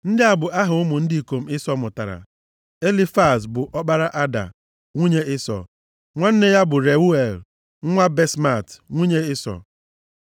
Ndị a bụ aha ụmụ ndị ikom Ịsọ mụtara. Elifaz bụ ọkpara Ada, nwunye Ịsọ. Nwanne ya bụ Reuel, nwa Basemat, nwunye Ịsọ.